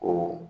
O